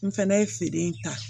N fɛnɛ ye feere in ta